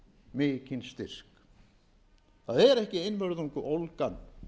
mikinn styrk það er ekki einvörðungu ólgan